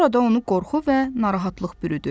Sonra da onu qorxu və narahatlıq bürüdü.